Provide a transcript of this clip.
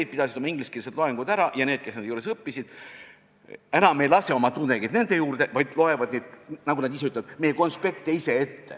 Nad pidasid oma ingliskeelsed loengud ära ja need, kes nende juures õppisid, oma tudengeid enam nende juurde ei lase, vaid loevad – nagu nad ise ütlevad – meie konspekte ise ette.